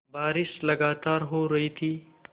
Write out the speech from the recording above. बारिश लगातार हो रही थी